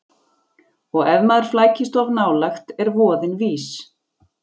Og ef maður flækist of nálægt er voðinn vís.